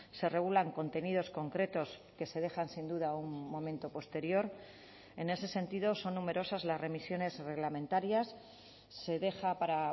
se regulan contenidos concretos que se dejan sin duda a un momento posterior en ese sentido son numerosas las remisiones reglamentarias se deja para